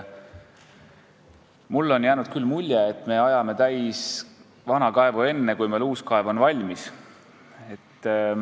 Mulle on jäänud küll mulje, et me ajame vana kaevu täis enne, kui uus kaev valmis on.